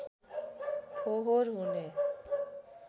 फाहोर हुने